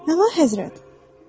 Nə vaxt həzrət?